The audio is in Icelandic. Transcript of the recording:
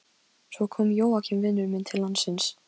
Svo kom Jóakim vinur minn til landsins.